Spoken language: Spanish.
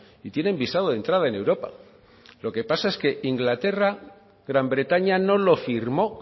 y tienen visado de entrada en europa lo que pasa es que inglaterra gran bretaña no lo firmó